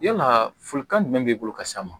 Yalaa folikan jumɛn b'i bolo ka s'a ma